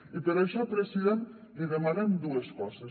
i per això president li demanem dues coses